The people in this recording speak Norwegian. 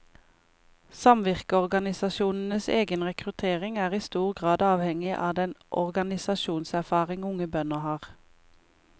Samvirkeorganisasjonenes egen rekruttering er i stor grad avhengig av den organisasjonserfaring unge bønder har.